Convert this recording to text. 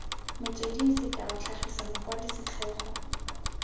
metsweding sekao tlhagisa mokwadi setlhogo